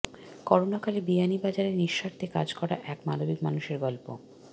করোনাকালে বিয়ানীবাজারে নিঃস্বার্থে কাজ করা এক মানবিক মানুষের গল্প